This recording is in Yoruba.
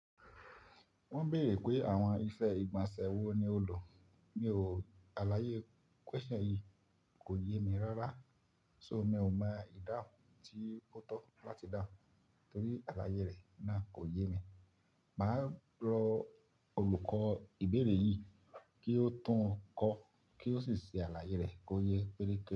Wọn béèrè pé àwọn iṣẹ́ ìgbọ̀nsẹ̀ wo ni ó lò. Mi ò, àlàyé question yìí kò yé mi rárá. So mi ò mọ ìdáhùn tí ó tọ́ láti dáhùn torí àlàyé rẹ̀ náà kò yé mi. Mà á rọ olùkọ́ ìbéèrè yìí kí ó tún un kọ́ kí ó sì ṣe àlàyé rẹ̀ kó yé péréke.